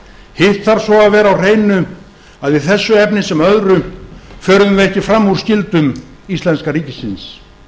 hitt þarf svo að vera á hreinu að í þessu efni sem öðru förum við ekki fram úr skyldum íslenska ríkisins